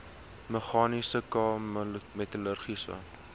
meganiese k metallurgiese